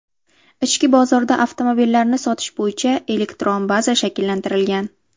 Ichki bozorda avtomobillarni sotish bo‘yicha elektron baza shakllantirilgan.